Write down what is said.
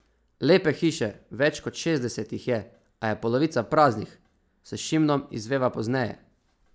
Lepe hiše, več kot šestdeset jih je, a je polovica praznih, s Šimnom izveva pozneje.